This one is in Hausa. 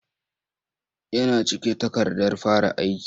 Yana cike takardar fara aiki.